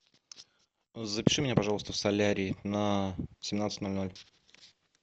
запиши меня пожалуйста в солярий на семнадцать ноль ноль